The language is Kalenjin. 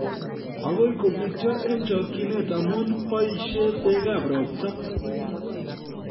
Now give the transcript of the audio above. Agoi kobityo eng chokchinet amu boisie bekab robta